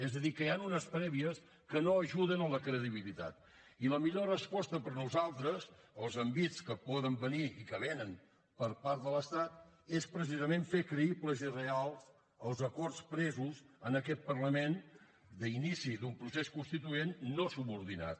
és a dir que hi han unes prèvies que no ajuden a la credibilitat i la millor resposta per a nosaltres als envits que poden venir i que vénen per part de l’estat és precisament fer creïbles i reals els acords presos en aquest parlament d’inici d’un procés constituent no subordinat